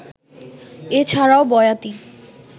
এ ছাড়াও বয়াতি